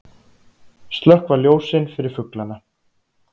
Slökkva ljósin fyrir fuglana